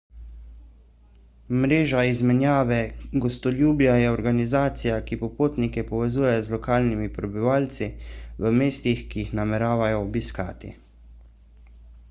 mreža izmenjave gostoljubja je organizacija ki popotnike povezuje z lokalnimi prebivalci v mestih ki jih nameravajo obiskati